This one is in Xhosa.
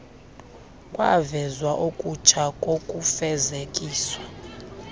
kwavezwa okutsha kokufezekisa